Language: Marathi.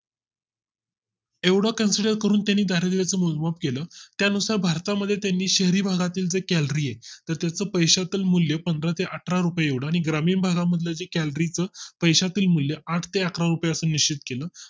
एवढा Consider करून त्याने दरिद्रीच मोजमाप केलं त्यानुसार भारता मध्ये त्यांनी शहरी भागातील calorie आहे तर त्या पैशा तील मूल्य पंधरा ते अठरा रुपये एवढ आणि ग्रामीण भागा मध्ये calorie च पैशांतील मूल्य आठ ते अकरा रुपये असं निश्चित केलं